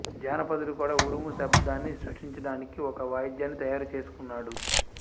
జానపదుడు కూడా ఉరుము శబ్దాన్ని సృష్టించడానికి ఒక వాద్యాన్ని తయారుచేసుకున్నాడు